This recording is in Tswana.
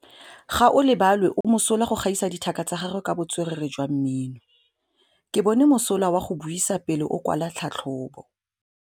Gaolebalwe o mosola go gaisa dithaka tsa gagwe ka botswerere jwa mmino. Ke bone mosola wa go buisa pele o kwala tlhatlhobô.